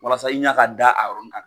Walasa i ɲa ka da a yɔrɔnin kan